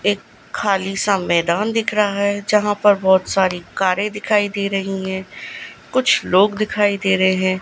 एक खाली संवेदान दिख रहा है यहां पर बहुत सारी कारें दिखाई दे रही हैं कुछ लोग दिखाई दे रहे हैं।